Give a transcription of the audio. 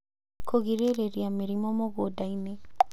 Kũgirĩrĩria mĩrimũ mũgũnda-inĩ